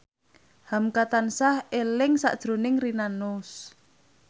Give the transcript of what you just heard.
hamka tansah eling sakjroning Rina Nose